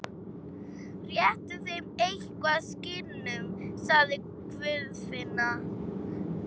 Réttu þeim eitthvað, skinnunum, sagði Guðfinna.